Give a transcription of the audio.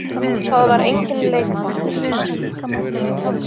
Það var enginn leikþáttur.